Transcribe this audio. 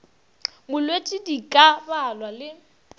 molwetši di ka balwa le